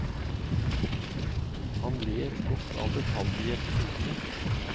Han ler godt av detaljer i episodene.